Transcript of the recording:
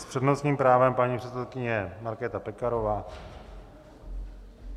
S přednostním právem paní předsedkyně Markéta Pekarová.